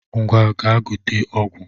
Ngwa gaa gote ọgwụ